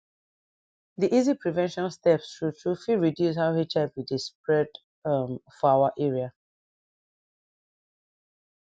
di easy prevention steps true true fit reduce how hiv dey spread um for our area